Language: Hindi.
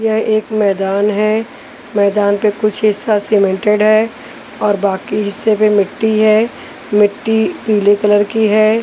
यह एक मैदान है मैदान पे कुछ हिस्सा सीमेंटेड है और बाकी हिस्से पे मिट्टी है मिट्टी पीले कलर की है।